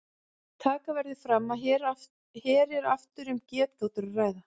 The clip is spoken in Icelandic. Taka verður fram að hér er aftur um getgátur að ræða.